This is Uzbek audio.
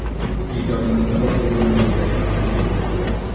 Ijodimizni boshlaganimizga sakkiz yil bo‘libdi.